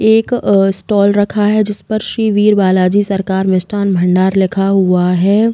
एक स्टोल रखा है जिस पर श्री वीर बालाजी सरकार मिष्ठान भंडार लिखा हुआ है।